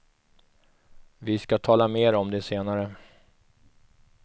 Vi ska tala mer om det senare.